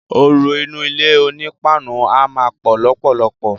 Ooru inú ilé oní páànù a má pò lópòlopò.